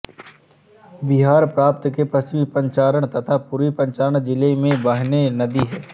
बिहार प्रांत के पश्चिमी चंपारण तथा पूर्वी चंपारण जिले में बहने नदी है